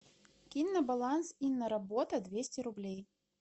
кинь на баланс инна работа двести рублей